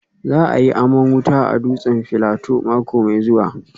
Za a yi aman wuta a dutsen Filato mako mai zuwa